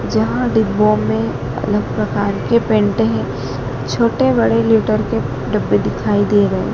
जहां डिब्बो मे अलग प्रकार के पेंट हैं छोटे बड़े लीटर के डब्बे दिखाई दे रहे--